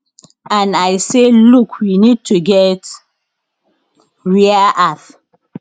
and i say look we need to get rare earth